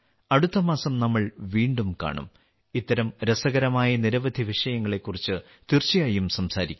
അടുത്ത മാസം നാം വീണ്ടും കാണും ഇത്തരം രസകരമായ നിരവധി വിഷയങ്ങളെക്കുറിച്ച് തീർച്ചയായും സംസാരിക്കും